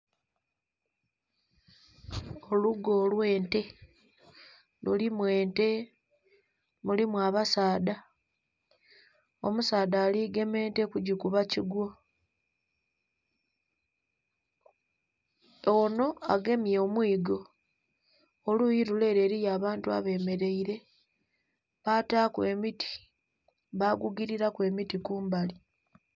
Olugo olw'ente. Mulimu ente, mulimu abasaadha. Omusaadha ali gema ente kugikuba kigwo. Onho agemye omwigo. Oluyi lule ele eliyo abantu abemeleile. Bataaku emiti, bagugililaku emiti kumbali.